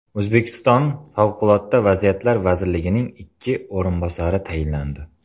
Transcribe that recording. O‘zbekiston favqulodda vaziyatlar vazirining ikki o‘rinbosari tayinlandi.